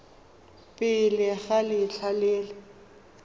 pele ga letlha le le